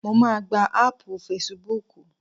Mo máà gba áàpù facebook.